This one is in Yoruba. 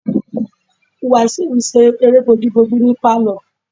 Wasiu n ṣe eré bojúbojú ní pálọ̀